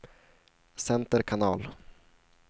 center kanal